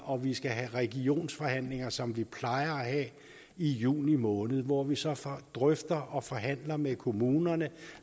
og at vi skal have regionsforhandlinger som vi plejer at have i juni måned hvor vi så drøfter og forhandler med kommunerne